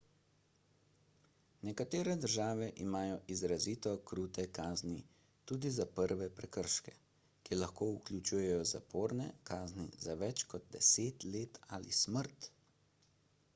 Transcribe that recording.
nekatere države imajo izrazito krute kazni tudi za prve prekrške ki lahko vključujejo zaporne kazni za več kot 10 let ali smrt